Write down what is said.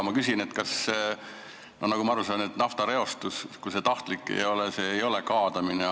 Nagu ma aru saan, siis naftareostus, kui see pole tahtlik, ei ole kaadamine.